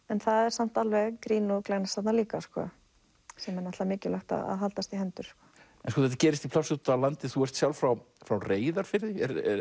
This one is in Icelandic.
en það er samt alveg grín og glens líka sem er náttúrulega mikilvægt að haldast í hendur þetta gerist í plássi úti á landi þú ert sjálf frá frá Reyðarfirði